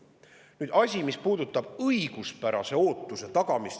Nüüd see, mis puudutab õiguspärase ootuse tagamist.